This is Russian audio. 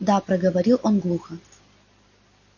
да проговорил он глухо